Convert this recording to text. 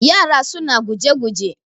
yara suna guje-guje